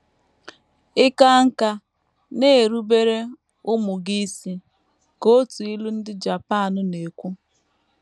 “ Ị kaa nkà, na - erubere ụmụ gị isi, ” ka otu ilu ndị Japan na - ekwu.